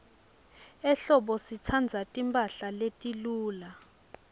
ehlobo sitsandza timphahla letiluca